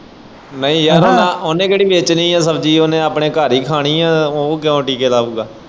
ਨਹੀਂ ਯਾਰ ਉਹਨੇ ਕਿਹੜੀ ਵੇਚਣੀ ਏ ਸ਼ਬਜੀ ਉਹਨੇ ਆਪਣੇ ਘਰ ਹੀ ਖਾਣੀ ਏ ਉਹ ਕਿਉਂ ਟੀਕੇ ਲਾਊਗਾ।